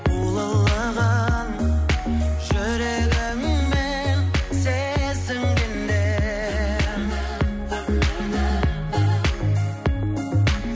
ұлылығын жүрегіңмен сезінгенде